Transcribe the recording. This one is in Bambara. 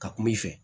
Ka kuma i fɛ